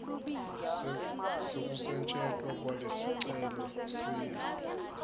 sekusetjentwa kwalesicelo siya